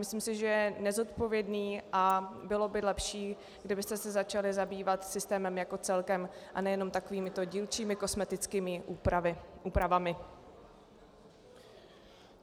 Myslím si, že je nezodpovědný a bylo by lepší, kdybyste se začali zabývat systémem jako celkem, a ne jenom takovými dílčími kosmetickými úpravami.